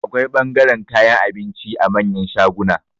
Akwai ɓangaren kayan abinci a manyan shaguna